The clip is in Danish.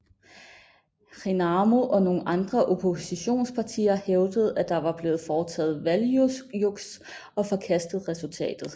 RENAMO og nogle andre oppositionspartier hævdede at der var blevet foretaget valgjuks og forkastede resultatet